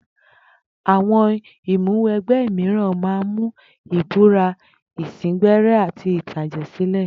Àwo̩n ìmúwe̩gbé̩ mìíràn máa ń mú ìbúra, ìsíngbé̩ré̩ àti ìtàjè̩sílè̩.